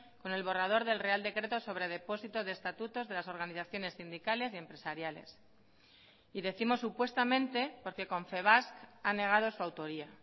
con el borrador del real decreto sobre depósito de estatutos de las organizaciones sindicales y empresariales y décimos supuestamente porque confebask ha negado su autoría